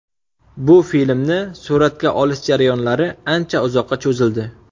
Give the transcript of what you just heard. Bu filmni suratga olish jarayonlari ancha uzoqqa cho‘zildi.